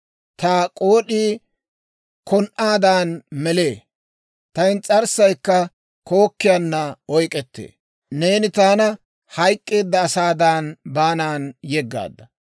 Ta k'ood'ii kon"aadan melee; ta ins's'arssay kookkiyaana oyk'k'ettee. Neeni taana hayk'k'eedda asaadan baanan yeggaadda.